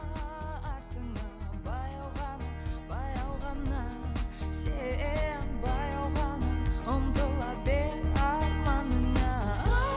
баяу ғана баяу ғана сен баяу ғана ұмтыла бер арманыңа